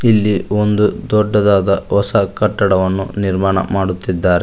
ಇಲ್ಲಿ ಒಂದು ದೊಡ್ಡದಾದ ಹೊಸ ಕಟ್ಟಡವನ್ನು ನಿರ್ಮಾಣ ಮಾಡುತ್ತಿದ್ದಾರೆ.